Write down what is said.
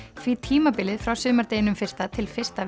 því tímabilið frá sumardeginum fyrsta til fyrsta